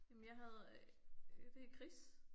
Jamen jeg havde øh det Chris